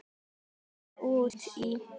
Ég er farin út í.